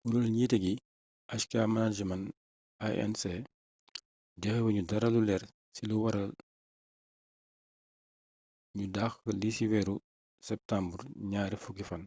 kureelu njiité gi hk management inc joxéwuñu dara lu leer ci lu wara ñu daxx lii ci wééru septumbar ñaar fukki fan